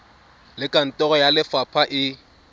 le kantoro ya lefapha e